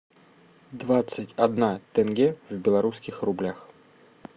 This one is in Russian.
двадцать одна тенге в белорусских рублях